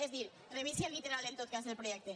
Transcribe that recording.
és a dir revisi el literal en tot cas del projecte